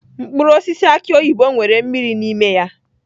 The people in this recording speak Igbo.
Mkpụrụ osisi aki oyibo nwere mmiri n'ime ya.